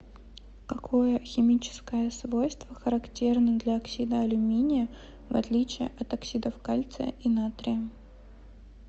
какое химическое свойство характерно для оксида алюминия в отличие от оксидов кальция и натрия